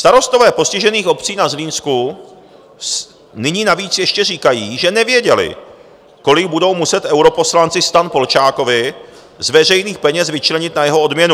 Starostové postižených obcí na Zlínsku nyní navíc ještě říkají, že nevěděli, kolik budou muset europoslanci STAN Polčákovi z veřejných peněz vyčlenit na jeho odměnu.